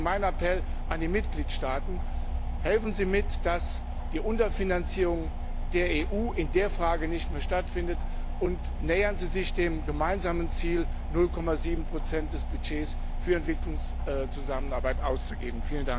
Deswegen mein Appell an die Mitgliedstaaten Helfen Sie mit, dass die Unterfinanzierung der EU in der Frage nicht mehr stattfindet, und nähern Sie sich dem gemeinsamen Ziel, 0,7 des Budgets für Entwicklungszusammenarbeit auszugeben.